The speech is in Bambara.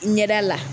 Ɲɛda la